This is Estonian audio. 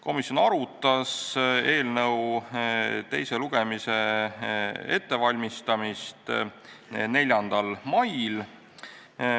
Komisjon arutas eelnõu teise lugemise ettevalmistamist 4. mail.